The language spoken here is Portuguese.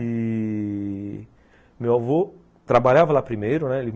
E... meu avô trabalhava lá primeiro, né?